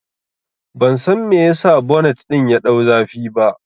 Ban san me yasa bonet ɗin ya ɗau zafi ba